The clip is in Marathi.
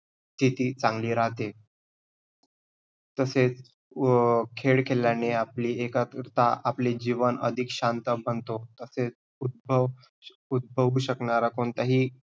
किती चांगली राहते. तसेच व अं खेळ खेळयाने आपली एकाग्रता, आपले जीवन अधिक शांत बनतो. तसेच उदभव~ उदभवू शकणारे कोणताही स्थिति चांगली राहते.